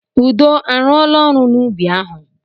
Udo a rụọla ọrụ n'ubi ahụ?